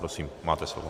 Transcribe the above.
Prosím, máte slovo.